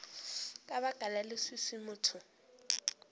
ka baka la leswiswi motho